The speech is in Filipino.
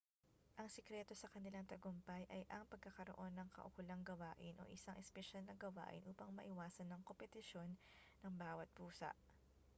ang sekreto sa kanilang tagumpay ay ang pagkakaroon ng kaukulang gawain o isang espesyal na gawain upang maiwasan ang kompetisyon ng bawat pusa